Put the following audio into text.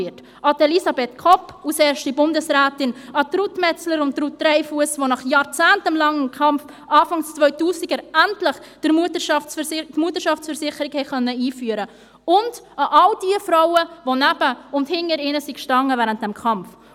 um an Elisabeth Kopp als erste Bundesrätin zu erinnern, an Ruth Metzler und an Ruth Dreifuss, die nach jahrzehntelangem Kampf Anfang 2000 endlich die Mutterschaftsversicherung einführen konnten; und um an all jene Frauen zu erinnern, die neben oder hinter ihnen standen während dieses Kampfs.